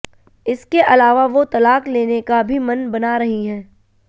इसके अलावा वो तलाक लेने का भी मन बना रही हैं